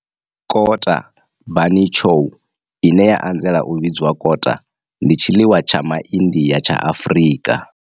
Kota bunny chow, ine ya anzela u vhidzwa kota, ndi tshiḽiwa tsha MaIndia tsha Afrika.